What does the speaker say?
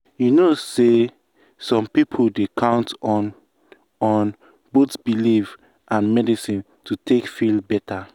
you know say some people dey count on on both belief and medicine to take feel better.